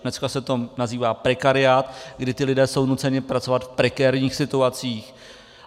Dneska se to nazývá prekariát, kdy ti lidé jsou nuceni pracovat v prekérních situacích.